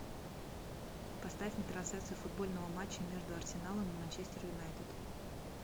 поставь мне трансляцию футбольного матча между арсеналом и манчестер юнайтед